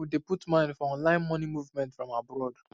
many people dey put mind for online money movement from abroad